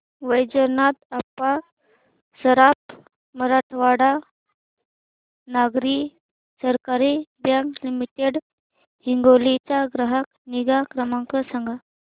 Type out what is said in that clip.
Vaijnath Appa Saraf Marathwada Nagari Sahakari bank limited Hingoli चा ग्राहक निगा क्रमांक सांगा